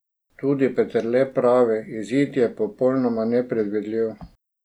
Tudi Peterle pravi: "Izid je popolnoma nepredvidljiv ...